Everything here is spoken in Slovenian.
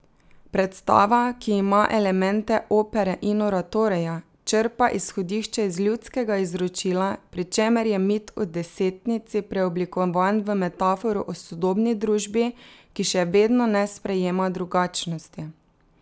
Predstava, ki ima elemente opere in oratorija, črpa izhodišče iz ljudskega izročila, pri čemer je mit o desetnici preoblikovan v metaforo o sodobni družbi, ki še vedno ne sprejema drugačnosti.